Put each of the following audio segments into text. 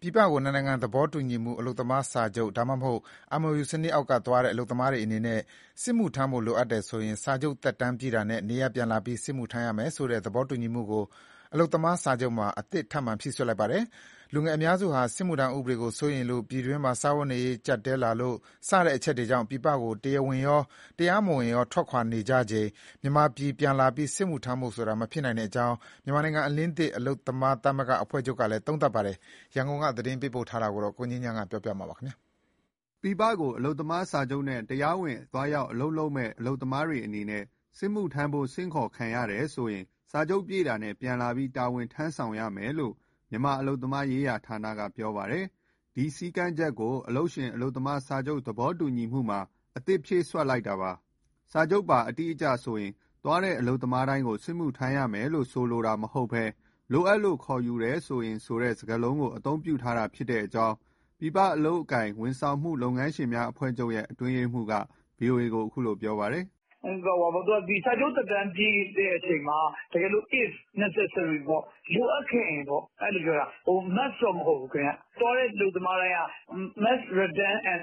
ပြည်ပကို နှစ်နိုင်ငံသဘောတူညီမှု အလုပ်သမားစာချုပ် ဒါမှမဟုတ် MoU စနစ်အောက်ကသွားတဲ့ အလုပ်သမားတွေအနေနဲ့ စစ်မှုထမ်းဖို့လိုအပ်တယ်ဆိုရင် စာချုပ်သက်တမ်းပြည့်တာနဲ့ နေရပ်ပြန်လာပြီး စစ်မှုထမ်းရမယ်ဆိုတဲ့သဘောတူညီမှုကို အလုပ်သမားစာချုပ်မှာ အသစ်ထပ်မံ ဖြည့်စွက်လိုက်ပါတယ်။ လူငယ်အများစုဟာ စစ်မှုထမ်းဥပဒေကိုစိုးရိမ်လို့၊ ပြည်တွင်းမှာ စားဝတ်နေရေး ကျပ်တည်းလာလို့စတဲ့အချက်တွေကြောင့် ပြည်ပကို တရားဝင်ရော၊တရားမဝင်ရော ထွက်ခွာနေကြချိန် မြန်မာပြည် ပြန်လာပြီး စစ်မှုထမ်းဖို့ဆိုတာ မဖြစ်နိုင်ကြောင်း မြန်မာနိုင်ငံအလင်းသစ် အလုပ်သမားသမဂ္ဂများ အဖွဲ့ချုပ်ကလည်း သုံးသပ်ပါတယ်။ ရန်ကုန်က သတင်းပေးပို့ထားပါတယ်။ ပြည်ပကို အလုပ်သမားစာချုပ်နဲ့ တရားဝင်အလုပ်သွားလုပ်ကြမယ့် အလုပ်သမားတွေအနေနဲ့ စစ်မှုထမ်းဖို့ ဆင့်ခေါ်ခံရတယ်ဆိုရင် စာချုပ်ပြည့်တာနဲ့ ပြန်လာပြီး တာဝန်ထမ်းဆောင်ရမယ်လို့ မြန်မာအလုပ်သမားရေးဌာနက ပြောပါတယ်။ ဒီစည်းကမ်းချက်ကို အလုပ်ရှင်-အလုပ်သမား စာချုပ် သဘောတူညီမှုမှာ အသစ်ဖြည့်စွက်လိုက်တာပါ။ စာချုပ်ပါ အတိအကျဆိုရင် သွားတဲ့အလုပ်သမားတိုင်းကို စစ်မှုထမ်းရမယ်လို့ ဆိုလိုတာမဟုတ်ဘဲ "လိုအပ်လို့ ခေါ်ယူတယ်ဆိုရင်" ဆိုတဲ့ စကားလုံးကို အသုံးပြုထားတာဖြစ်ကြောင်း ပြည်ပအလုပ်အကိုင် ဝန်ဆောင်မှု လုပ်ငန်းရှင်များ အဖွဲ့ချုပ်ရဲ့ အတွင်းရေးမှူးက ဗွီအိုအေကို ပြောပါတယ်။ "စာချုပ်သက်တမ်းပြည့်တဲ့အချိန်မှာ တကယ်လို့ if necessary ပေါ့၊ လိုအပ်ခဲ့ရင်ပေါ့၊ အဲလိုပြောတာ။ Must တော့မဟုတ်ဘူး။ သွားတဲ့အလုပ်သမားတိုင်းက must return and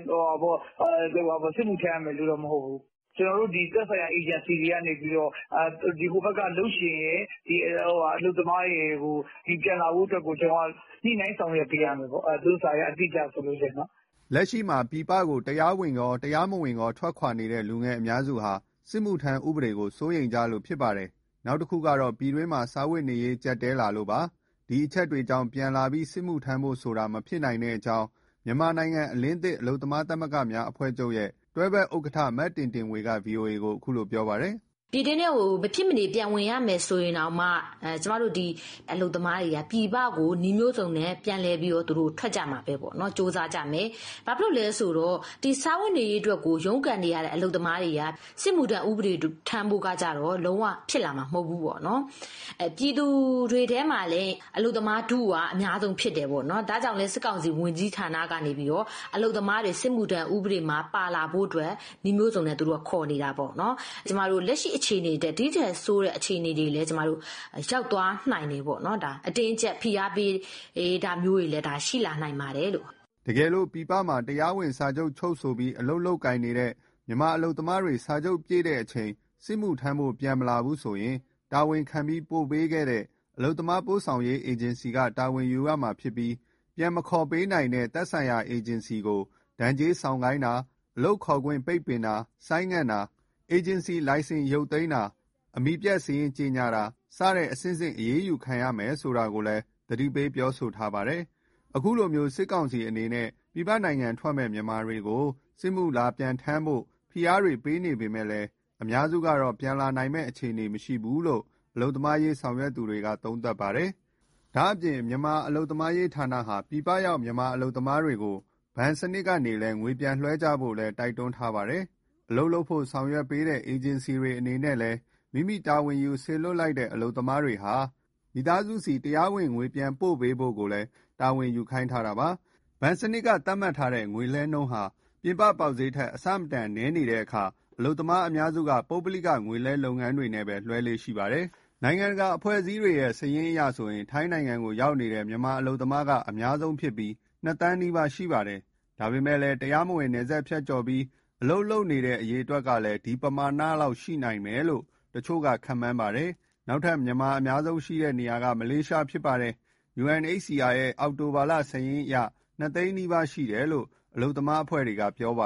စစ်မှုထမ်းရမယ်လို့ မဟုတ်ဘူး။ ကျနော်တို့ သက်ဆိုင်ရာအေဂျင်စီတွေကနေပြီး ဟိုဘက်ကအလုပ်ရှင်ရယ်၊ အလုပ်သမားတွေရယ်ကို ပြန်လာဖို့အတွက်ကို ကျနော်တို့က ညှိနှိုင်းဆောင်ရွက်ပေးရမယ်ပေါ့ သူတို့စာရဲ့ အတိအကျဆိုရင်။" လက်ရှိမှာ ပြည်ပကို တရားဝင်ရော၊ တရားမဝင်ရော ထွက်ခွာနေတဲ့ လူငယ်အများစုဟာ စစ်မှုထမ်း ဥပဒေကို စိုးရိမ်ကြလို့ ဖြစ်ပါတယ်။ နောက်တခုကတော့ ပြည်တွင်းမှာ စားဝတ်နေရေး ကျပ်တည်း လာလို့ ဖြစ်ပါတယ်။ ဒီအချက်တွေကြောင့် ပြန်လာပြီး စစ်မှုထမ်းဖို့ဆိုတာ မဖြစ်နိုင်ကြောင်း မြန်မာနိုင်ငံအလင်းသစ် အလုပ်သမားသမဂ္ဂများ အဖွဲ့ချုပ်ရဲ့တွဲဖက်ဥက္ကဋ္ဌ မတင်တင်ဝေက ဗွီအိုအေကို ပြောပါတယ်။ "ပြည်တွင်းထဲကို မဖြစ်မနေ ပြန်ဝင်ရမယ်ဆိုရင်တောင်မှ ကျမတို့ အလုပ်သမားတွေဟာ ပြည်ပကို နည်းမျိုးစုံနဲ့ပြန်လည် ထွက်ကြမှာပဲပေါ့၊ ကြိုးစားကြမယ်။ ဘာလို့လဲဆိုတော့ စားဝတ်နေရေး အတွက်ကို ရုန်းကန်နေရတဲ့အလုပ်သမားတွေဟာ စစ်မှုထမ်းဖို့ကတော့ လုံးဝ ဖြစ်လာမှာမဟုတ်ဘူး ပေါ့။ ပြည်သူတွေထဲမှာလည်း အလုပ်သမားထုက အများဆုံးဖြစ်တယ်ပေါ့။ ဒါကြောင့်လည်း စစ်ကောင်စီ ဝန်ကြီးဌာနကနေ အလုပ်သမားတွေ စစ်မှုထမ်းဥပဒေမှာ ပါလာဖို့ နည်းမျိုးစုံနဲ့ ခေါ်နေတာပေါ့။ လက်ရှိအခြေအနေထက် ဒီထက်ဆိုးတဲ့ အခြေအနေတွေ ကျမတို့ရောက်သွားနိုင် တယ်။ အတင်းအကျပ် ဖိအားပေးတာမျိုးတွေ ရှိလာနိုင်ပါတယ်။" တကယ်လို့ ပြည်ပမှာ တရားဝင်စာချုပ်ချုပ်ဆိုပြီး အလုပ်လုပ်ကိုင်နေတဲ့ မြန်မာအလုပ်သမားတွေ စာချုပ်ပြည့်ချိန် စစ်မှုထမ်းဖို့ ပြန်မလာဘူးဆိုရင် တာဝန်ခံပြီးပို့ပေးခဲ့တဲ့ အလုပ်သမားပို့ဆောင်ရေး အေဂျင်စီက တာဝန်ယူရမှာဖြစ်ပြီးပြန်မခေါ်ပေးနိုင်တဲ့သက်ဆိုင်ရာ အေဂျင်စီကို ဒဏ်ကြေးဆောင် ခိုင်းတာ၊ အလုပ်ခေါ်ခွင့်ပိတ်ပင်တာ၊ ဆိုင်းငံ့တာအေဂျင်စီလိုင်စင်ပိတ်သိမ်းတာ အမည်ပျက်စာရင်း ကြေညာတာ စတဲ့အဆင့်ဆင့်အရေးယူခံရမယ်ဆိုတာကိုလည်းသတိပေးပြောဆိုထားတာပါ။ ဒီလိုမျိုး စစ်ကောင်စီအနေနဲ့ ပြည်ပနိုင်ငံထွက်မယ့် မြန်မာတွေကို စစ်မှုလာပြန်ထမ်းဆောင်ဖို့ ဖိအားတွေ ပေးနေပေမဲ့လည်း အများစုကတော့ ပြန်လာနိုင်မယ့်အခြေအနေမရှိဘူးလို့လည်း အလုပ်သမားရေး ဆောင်ရွက်သူတွေက သုံးသပ်ပြောနေကြပါတယ်။ ဒါ့အပြင် မြန်မာအလုပ်သမားရေးဌာနဟာ ပြည်ပရောက် မြန်မာအလုပ်သမားတွေကို ဘဏ်စနစ်ကနေ ငွေပြန်လွှဲကြဖို့လည်း တိုက်တွန်း ထားပါတယ်။ အလုပ်လုပ်ဖို့ဆောင်ရွက်ပေးတဲ့ အေဂျင်စီအနေနဲ့ လည်း မိမိတာဝန်ယူစေလွှတ်လိုက်တဲ့ အလုပ်သမားတွေ မိသားစုဆီ တရားဝင်ငွေပြန်ပို့ပေးဖို့ကိုလည်း တာဝန်ယူခိုင်းထားတာပါ။ ဘဏ်စနစ်က သတ်မှတ်ထားတဲ့ ငွေလွှဲနှုန်းဟာ ပြင်ပပေါက်ဈေးထက် အဆမတန် နည်းနေတဲ့အခါ အလုပ်သမားအများစုက ပုဂ္ဂလိက ငွေလွှဲလုပ်ငန်းတွေနဲ့ပဲ လွှဲလေ့ရှိပါတယ်။ နိုင်ငံတကာအဖွဲ့အစည်းတွေရဲ့ စာရင်းအရဆိုရင် ထိုင်းနိုင်ငံကို ရောက်နေတဲ့ မြန်မာအလုပ်သမားက အများဆုံးဖြစ်ပြီး၂သန်းနီးပါးရှိပါတယ်။ ဒါပေမဲ့ တရားမဝင် နယ်စပ်ဖြတ်ကျော်ပြီး အလုပ်လုပ်နေနဲ့ အရေအတွက်ကလည်း ဒီပမာဏလောက် ရှိနိုင်မယ်လို့လည်း တချို့က ခန့်မှန်းပါတယ်။ နောက်ထပ် မြန်မာအများဆုံးရှိတဲ့ နေရာကတော့ မလေးရှားဖြစ်ပါတယ်။ UNHCR ရဲ့ အောက်တိုဘာလစာရင်းအရ ၂ သိန်းနီးပါးရှိတယ်လို့ အလုပ်သမားအဖွဲ့တွေက ပြောပ